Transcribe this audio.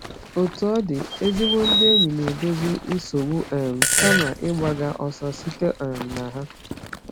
Otú ọ dị, ezigbo ndị enyi na-edozi nsogbu um kama ịgbaga ọsọ site um na ha.